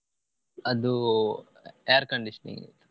ಅದು air conditioning .